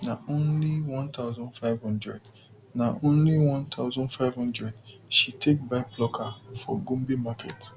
na only one thousand five hundred na only one thousand five hundred she take buy plucker for gombe market